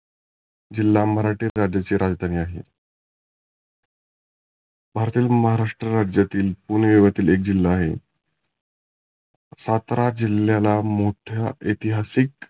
जिल्हा मराठे राज्याचे राजधानी आहे. भारतातील महाराष्ट्रातील पुणे येवती एक जिल्हा आहे. सातारा जिल्ह्याला मोठा ऐतीहासीक